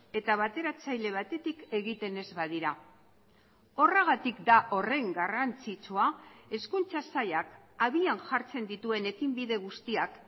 eta bateratzaile batetik egiten ez badira horregatik da horren garrantzitsua hezkuntza sailak abian jartzen dituen ekinbide guztiak